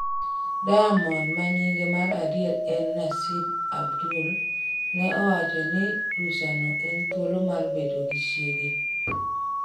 Diamond ma nyinge mar adier en Naseeb Abdul ne owacho ni rusano en thuolo mar bedo gi chiege